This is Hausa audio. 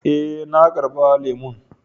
Eh, na karba lemun.